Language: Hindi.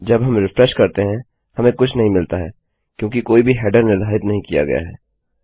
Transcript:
जब हम रिफ्रेश करते हैं हमें कुछ नहीं मिलता है क्योंकि कोई भी हेडर निर्धारित नहीं किया गया है